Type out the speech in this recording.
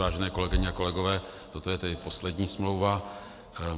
Vážené kolegyně a kolegové, toto je tedy poslední smlouva.